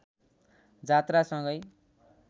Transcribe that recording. जात्रासँगै